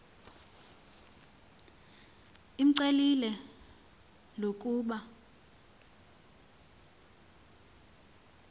imcelile l ukuba